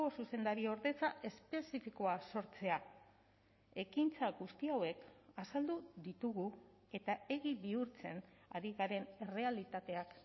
zuzendariordetza espezifikoa sortzea ekintza guzti hauek azaldu ditugu eta egi bihurtzen ari garen errealitateak